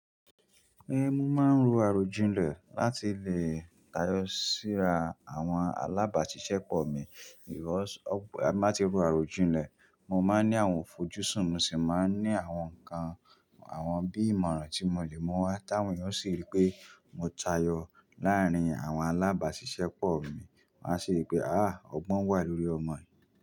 Ehn, mo máa ń ro àròjinlẹ̀ láti lè tayọ síra àwọn alábàáṣiṣẹ́pọ̀ mi. Bí mo bá ti ro àròjinlẹ̀, mo máa ń ní àwọn fojú sùn, mo sì máa ń ní àwọn nǹkan, àwọn bíi ìmọ̀ràn tí mo lè mú wá táwọn yọn ò sì rí pé mo tayọ láàárín àwọn alábàáṣiṣẹ́pọ̀ mi. Wọn á sì rí pé, àh! Ọgbọ́n wà lórí ọmọ yìí.